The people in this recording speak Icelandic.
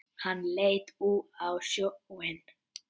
Hann leit út á sjóinn.